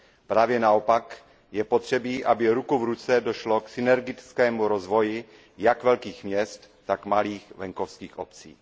Právě naopak, je potřeba, aby ruku v ruce došlo k synergickému rozvoji jak velkých měst, tak malých venkovských obcí.